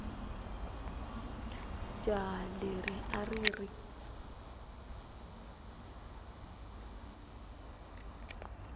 jaha leri a ri ri